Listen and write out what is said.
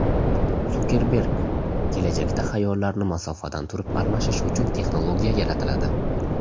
Sukerberg: Kelajakda xayollarni masofadan turib almashish uchun texnologiya yaratiladi.